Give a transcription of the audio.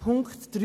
Punkt 3